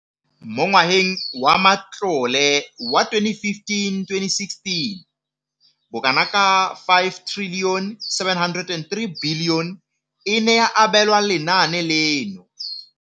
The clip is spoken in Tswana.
Mo ngwageng wa matlole wa 2015 le 2016, bokanaka R5 703 bilione e ne ya abelwa lenaane leno.